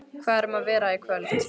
Hvað er um að vera í kvöld?